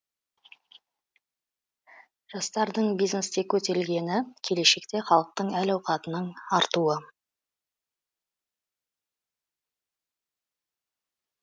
жастардың бизнесте көтерілгені келешекте халықтың әл ауқатының артуы